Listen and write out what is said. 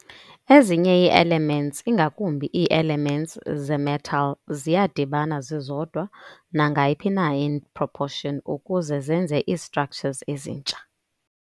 Ezinye ii-elements, ingakumbi ii-elements ze-metal ziyadibana zizodwa nangayiphi na i-proportion ukuze zenze izi-structures esintsha.